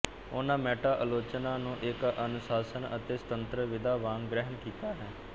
ਉਨ੍ਰਾ meta ਆਲੋਚਨਾ ਨੂ ਇੱਕ ਅਨੁਸਾਸ਼ਨ ਅਤੇ ਸਤੁੰਤਰ ਵਿਧਾ ਵਾਂਗ ਗ੍ਰਹਿਣ ਕੀਤਾ ਹੈ